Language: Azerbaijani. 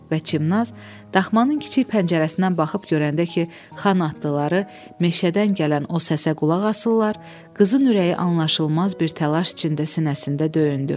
Və Çimnaz daxmanın kiçik pəncərəsindən baxıb görəndə ki, Xan atlıları meşədən gələn o səsə qulaq asırlar, qızın ürəyi anlaşılmaz bir təlaş içində sinəsində döyündü.